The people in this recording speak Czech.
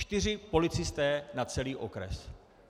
Čtyři policisté na celý okres.